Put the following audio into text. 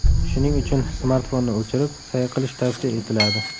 Shuning uchun smartfonni o‘chirib, sayr qilish tavsiya etiladi.